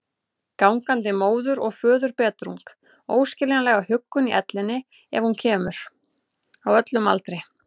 Gangandi móður- og föðurbetrung, óskiljanlega huggun í ellinni ef hún kemur, á öllum aldri.